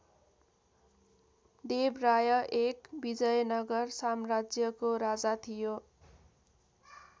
देव राय १ विजयनगर साम्राज्यको राजा थियो।